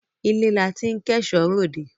Ilé la tí ń kẹ́ṣọ ròde